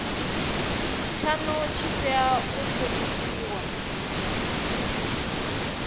tshanu tshi tea u thonifhiwa